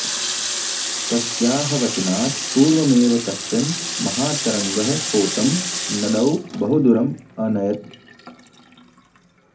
तस्याः वचनात् पुर्वमेव कश्चन महातरङ्गः पोतं नदौ बहुदूरम् अनयत्